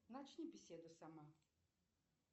начни беседу сама